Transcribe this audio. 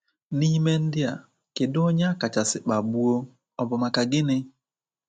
N’ime ndị a, kedụ onye akachasị kpagbuo, ọ bụ maka gịnị?